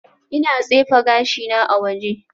Ina tsefe gashina a waje